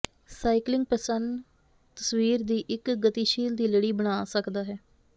cycling ਪ੍ਰਸੰਨ ਤਸਵੀਰ ਦੀ ਇੱਕ ਗਤੀਸ਼ੀਲ ਦੀ ਲੜੀ ਬਣਾ ਸਕਦਾ ਹੈ